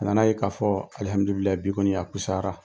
A nana' ye k'a fɔ alihamdulilayi bi kɔɔni a kusayara.